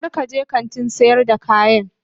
Kar ka je kantin sayar da kayan